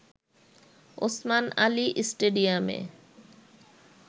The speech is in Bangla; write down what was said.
ওসমান আলী স্টেডিয়ামে